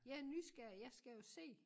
Jeg er nysgerrig jeg skal jo se